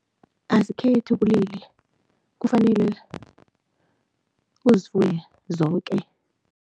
Azikhethi ubulili, kufanele uzifuye zoke.